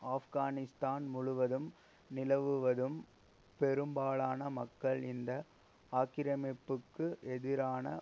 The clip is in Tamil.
ஆப்கானிஸ்தான் முழுவதும் நிலவுவதும் பெரும்பாலான மக்கள் இந்த ஆக்கிரமிப்புக்கு எதிரான